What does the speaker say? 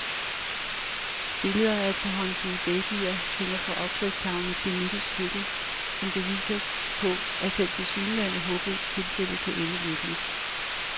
Billeder af et par håndfulde babyer hænger på opslagstavlen i klinikkens køkken som beviser på, at selv tilsyneladende håbløse tilfælde kan ende lykkeligt.